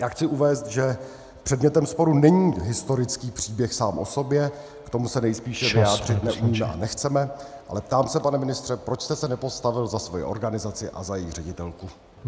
Já chci uvést, že předmětem sporu není historický příběh sám o sobě , k tomu se nejspíše vyjádřit neumíme a nechceme, ale ptám se, pane ministře, proč jste se nepostavil za svoji organizaci a za její ředitelku.